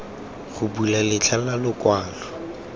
go bula letlha la lokwalo